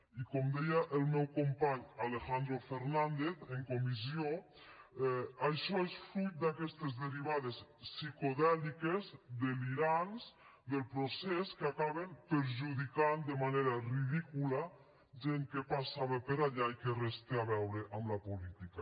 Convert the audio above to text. i com deia el meu company alejandro fernández en comissió això és fruit d’aquestes derivades psicodèliques delirants del procés que acaben perjudicant de manera ridícula gent que passava per allà i que res té a veure amb la política